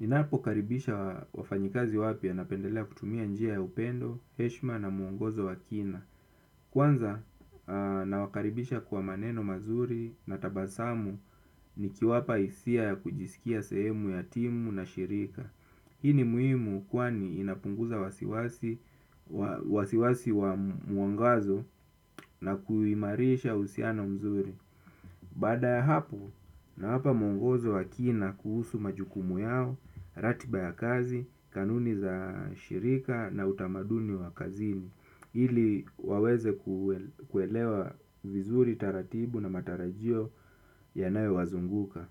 Ninapokaribisha wafanyikazi wapya napendelea kutumia njia ya upendo, heshima na muongozo wa kina. Kwanza nawakaribisha kwa maneno mazuri na tabasamu nikiwapa hisia ya kujisikia sehemu ya timu na shirika. Hii ni muhimu kwani inapunguza wasiwasi wa muongozo na kuimarisha uhusiano mzuri. Baada ya hapo nawapa mungozo wa kina kuhusu majukumu yao, ratiba ya kazi, kanuni za shirika na utamaduni wa kazini, ili waweze kuelewa vizuri taratibu na matarajio yanayowazunguka.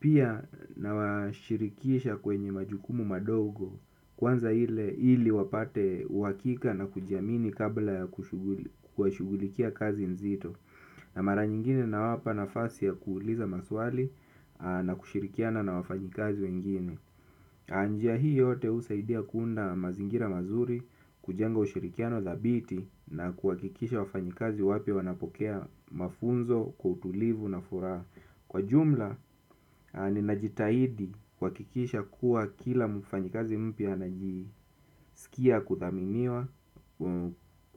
Pia nawashirikisha kwenye majukumu madogo kwanza ili wapate uhakika na kujiamini kabla kushughulikia kazi nzito. Na mara nyingine nawapa nafasi ya kuuliza maswali na kushirikiana na wafanyikazi wengine. Njia hii yote husaidia kuunda mazingira mazuri kujenga ushirikiano thabiti na kuhakikisha wafanyikazi wapya wanapokea mafunzo kwa utulivu na furaha. Kwa jumla, ninajitahidi kuhakikisha kuwa kila mfanyikazi mpya anajisikia kuthaminiwa,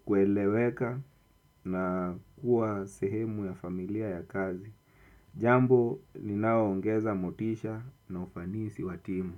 kueleweka na kuwa sehemu ya familia ya kazi. Jambo, ninaoongeza motisha na ufanisi wa timu.